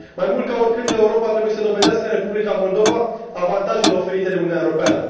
Mai mult ca oricând, Europa trebuie să dovedească în Republica Moldova avantajele oferite de Uniunea Europeană.